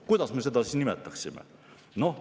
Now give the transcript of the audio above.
Kuidas me seda siis nimetaksime?